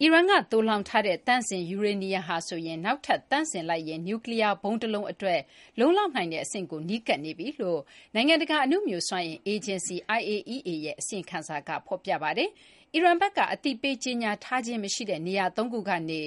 အီရန်က သိုလှောင်ထားတဲ့ သန့်စင် ယူရေနီယံကို နောက်ထပ် သန့်စင်လိုက်ရင် နျူးကလီးယား ဗုံးတလုံးအတွက် လုံလောက်နိုင်တဲ့ အဆင့်ကို နီးကပ်နေပြီလို့ နိုင်ငံတကာ အနုမြူစွမ်းအင်အေဂျင်စီ IAEA ရဲ့ အစီရင်ခံစာက ဖော်ပြပါတယ်။ အီရန်ဘက်က အသိပေး ကြေညာထားခြင်း မရှိတဲ့ နေရာသုံးခုကနေ